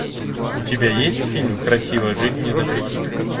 у тебя есть фильм красиво жить не запретишь